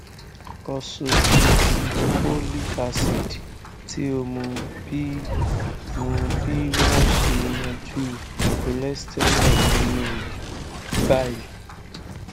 ursodeoxycholic acid ti o mu bi mu bi wọn ṣe yanju cholesterol ninu bile